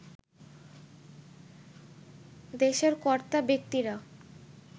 দেশের কর্তাব্যক্তিরা